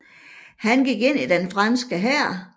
Han gik ind i den franske hær